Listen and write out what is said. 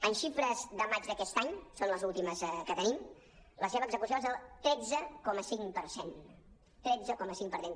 en xifres de maig d’aquest any són les últimes que tenim la seva execució és del tretze coma cinc per cent tretze coma cinc per cent